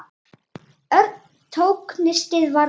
Örn tók nistið varlega upp.